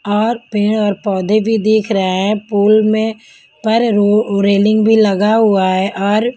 और पेड़ और पौधे भी दिख रहे हैं पुल में पर रेलिंग भी लगा हुआ है और.